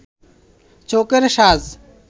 চোখের সাজ